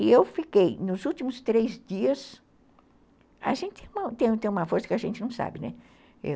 E eu fiquei, nos últimos três dias, a gente tem uma força que a gente não sabe, né?